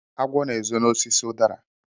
Agwo na-ezo n'osisi udara.